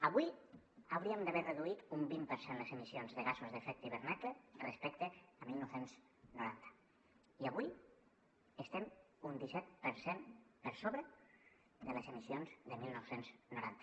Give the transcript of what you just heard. avui hauríem d’haver reduït un vint per cent les emissions de gasos amb efecte d’hivernacle respecte al dinou noranta i avui estem un disset per cent per sobre de les emissions de dinou noranta